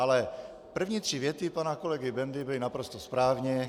Ale první tři věty pana kolegy Bendy byly naprosto správně.